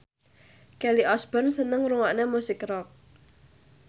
Kelly Osbourne seneng ngrungokne musik rock